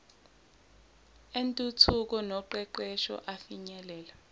entuthuko noqeqesho afinyelele